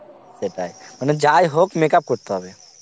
সেটাই মানে যায় হোক, makeup করতে হবে